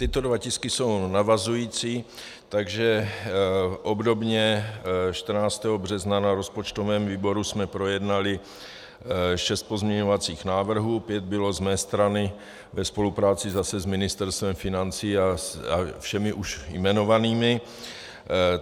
Tyto dva tisky jsou navazující, takže obdobně 14. března na rozpočtovém výboru jsme projednali šest pozměňovacích návrhů, pět bylo z mé strany ve spolupráci zase s Ministerstvem financí a všemi už jmenovanými.